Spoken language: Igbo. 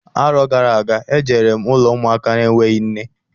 Arọ gara aga, e jere m ụlọ ụmụaka enweghị nne.